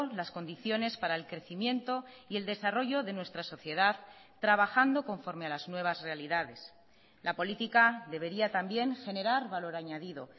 las condiciones para el crecimiento y el desarrollo de nuestra sociedad trabajando conforme a las nuevas realidades la política debería también generar valor añadido